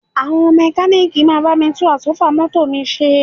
Àwọn mẹ́kalíìkì máa bá mi tún Àsọ́fà mọ́tò mi ṣe